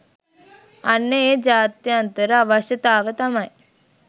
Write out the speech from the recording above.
අන්න ඒ ජාත්‍යන්තර අවශ්‍යතාව තමයි